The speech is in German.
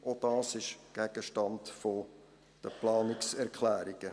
Auch dies ist Gegenstand der Planungserklärungen.